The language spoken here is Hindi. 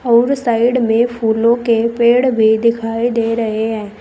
और साइड में फूलों के पेड़ भी दिखाई दे रहे हैं।